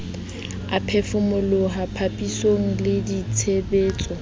a phefomoloho papisong le ditshebetso